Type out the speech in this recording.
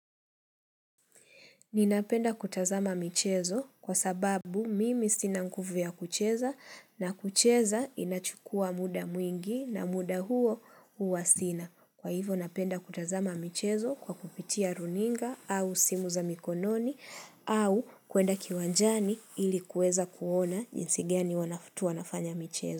Ninapenda kutazama michezo kwa sababu mimi sina nguvu ya kucheza na kucheza inachukua muda mwingi na muda huo huwa sina. Kwa hivo napenda kutazama michezo kwa kupitia runinga au simu za mikononi au kuenda kiwanjani ilikuweza kuona jinsi gani watu wanafanya michezo.